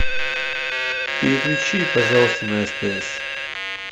переключи пожалуйста на стс